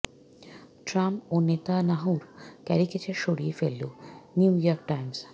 Trump ও নেতানিয়াহুর caricature সরিয়ে ফেলল নিউ ইয়র্ক টাইমস